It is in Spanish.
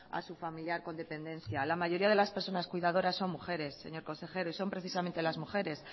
a su familiar con dependencia la mayoría de las personas cuidadoras son mujeres señor consejero y son precisamente las mujeres